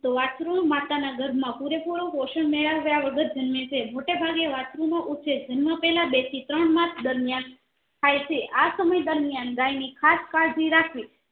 તો વસ્ત્રુ માતા ના ગર્ભામા પુરેપૂરો પોષણ મેળવ્યા વગર જન્મે છે મૉટે ભાગે વસ્ત્રુ નો ઉછેર જન્મ્યા પહેલા બે થી ત્રણ માસ દરમિયાન થાય છે આ સમય દરમિયાન ગાય ની ખાસ કાવજી રાખાવી